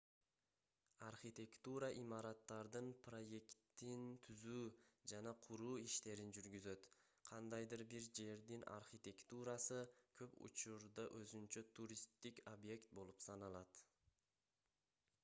архитектура имараттардын проектин түзүү жана куруу иштерин жүргүзөт кандайдыр бир жердин архитектурасы көп учурда өзүнчө туристтик объект болуп саналат